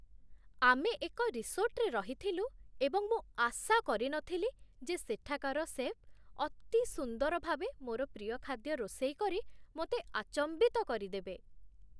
ଆମେ ଏକ ରିସୋର୍ଟରେ ରହିଥିଲୁ, ଏବଂ ମୁଁ ଆଶା କରି ନ ଥିଲି ଯେ ସେଠାକାର ଶେଫ୍ ଅତି ସୁନ୍ଦର ଭାବେ ମୋର ପ୍ରିୟ ଖାଦ୍ୟ ରୋଷେଇ କରି ମୋତେ ଆଚମ୍ବିତ କରିଦେବେ।